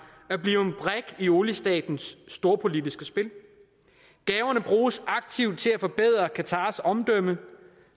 at blive en brik i oliestatens storpolitiske spil gaverne bruges aktivt til at forbedre qatars omdømme